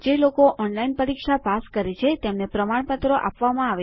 જે લોકો ઓનલાઈન પરીક્ષા પાસ કરે છે તેમને પ્રમાણપત્રો આપવામાં આવે છે